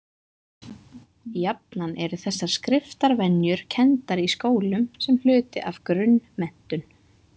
Jafnan eru þessar skriftarvenjur kenndar í skólum sem hluti af grunnmenntun.